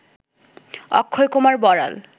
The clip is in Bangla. অক্ষয়কুমার বড়াল